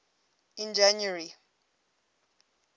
in january